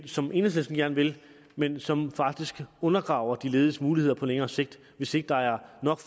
som enhedslisten gerne vil men som faktisk undergraver de lediges muligheder på længere sigt hvis ikke der er